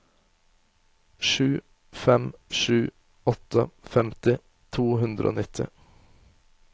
sju fem sju åtte femti to hundre og nitti